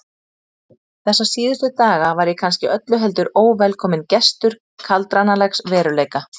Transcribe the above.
Þessa síðustu daga var ég kannski öllu heldur óvelkominn gestur kaldranalegs veruleika.